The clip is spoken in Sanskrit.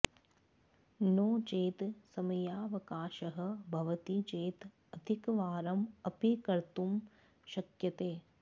नोचेत् समयावकाशः भवति चेत् अधिकवारम् अपि कर्तुं शक्यते